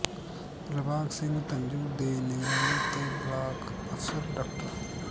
ਦਿਲਬਾਗ ਸਿੰਘ ਧੰਜੂ ਦੇ ਨਿਗਰਾਨੀ ਤੇ ਬਲਾਕ ਅਫਸਰ ਡਾ